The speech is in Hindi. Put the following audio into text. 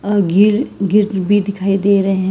ग्रिल भी दिखाई दे रहे हैं।